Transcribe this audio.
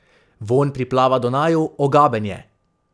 Vonj priplava do naju, ogaben je.